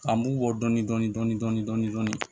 An b'u bɔ dɔɔnin dɔɔnin